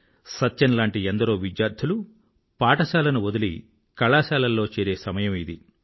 సత్యం లాంటి ఎందరో విద్యార్థులు పాఠశాలను వదిలి కళాశాలల్లో చేరే సమయం ఇది